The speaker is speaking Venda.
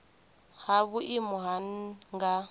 ha vhuimo ha nha nga